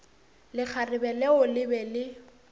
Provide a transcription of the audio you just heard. lekgarebe leo le be le